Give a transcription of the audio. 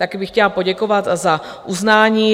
Taky bych chtěla poděkovat za uznání.